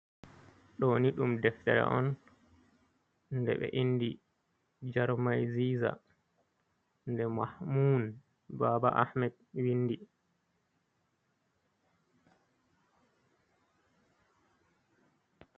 Ɗooni ɗum deftere on nde ɓe indi jarmai ziza, nde Mahmun Aaba hmed windi.